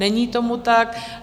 Není tomu tak.